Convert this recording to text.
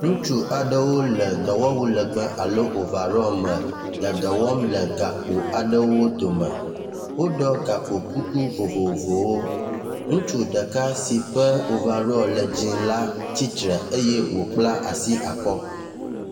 Ŋutsu aɖewo le dɔwɔwu legbe alo ovarɔ me le dɔwɔm le gakpo aɖewo dome woɖɔ gakpo kuku vovovowo ,ŋutsu ɖeka si ƒe ovaɖɔ le dzĩ la tsitsre eye wo kpla asi akɔ́